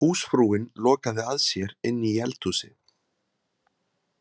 Húsfrúin lokaði að sér inni í eldhúsi.